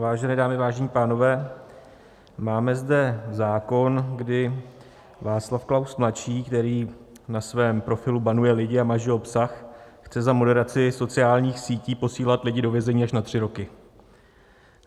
Vážené dámy, vážení pánové, máme zde zákon, kdy Václav Klaus mladší, který na svém profilu banuje lidi a maže obsah, chce za moderaci sociálních sítí posílat lidi do vězení až na tři roky.